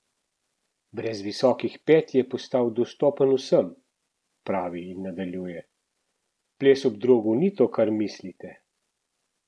Brez visokih pet je postal dostopen vsem," pravi in nadaljuje: "Ples ob drogu ni to, kar mislite.